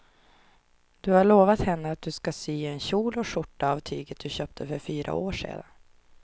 Du har lovat henne att du ska sy en kjol och skjorta av tyget du köpte för fyra år sedan.